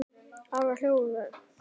Ari hló við þeim.